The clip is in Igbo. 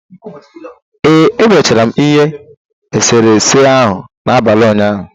Ee, M mechara ihe eserese ahụ n'abalị ụnyaahụ.